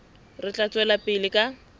re tla tswela pele ka